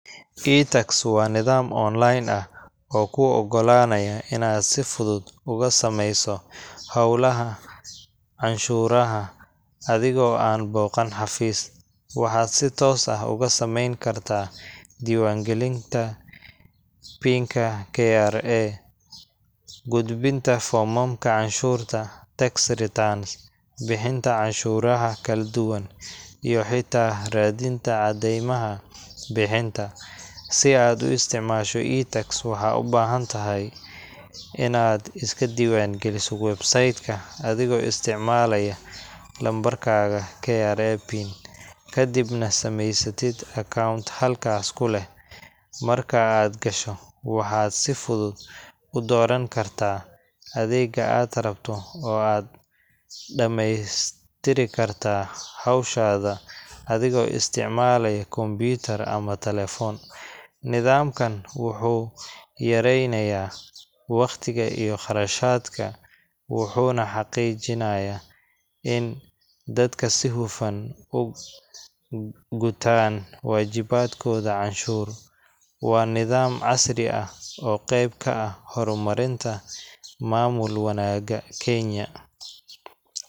itax wa nidaam online ah, oo ku ogolanaya ina si fudud ugusameyso xowlaha canshuraxa adhigo an boqan xafis, waxa si toos ah ogusamen karta diwan galinta, pin kra, qudbinta fomamka canshurta, tax returns, bixinta canshuraxa kaladuwan, iyo hita radinta cademaxa bixinta, si aad uisticmasho itax waxad ubahantaxay, inad iskadiwan qaliso website adhigo isticmalaya numberkadah kra pin kadibna sameysatidh account xalkas kuleh, marka aad qasho waxa si fudud udoran karta, adega aad rabto oo aad damestiri karta xowshada, adhigo isticmalayo computer ama talephone, nidamkan wuxu yarey naya, wagtiga iyo qarashadka, wuxun xaqijinaya in dadka si xufaan ogutan wajibadh koda canshur, wa nidhaam casri ah, oo qeb kaax xormarinta mamul wanaga kenya.